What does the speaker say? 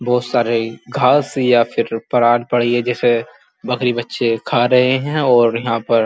बोत सारे घास या फिर पड़ी है जिसे बकरी बच्चे खा रहे हैं और यहाँ पर --